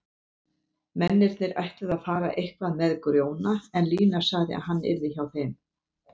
Mennirnir ætluðu að fara eitthvað með Grjóna en Lína sagði að hann yrði hjá þeim.